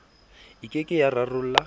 e ke ke ya rarolla